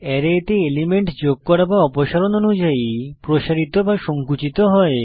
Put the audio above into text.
array এতে element যোগ বা অপসারণ অনুযায়ী প্রসারিত বা সঙ্কুচিত হয়